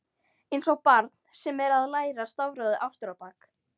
Einsog barn sem er að læra stafrófið aftur á bak.